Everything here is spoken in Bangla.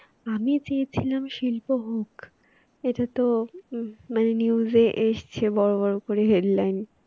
আমি চেয়েছিলাম শিল্প হোক এটা তো মানে news এ এসেছে বড় বড় করে Headline